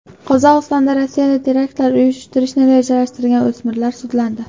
Qozog‘istonda Rossiyada teraktlar uyushtirishni rejalashtirgan o‘smirlar sudlandi.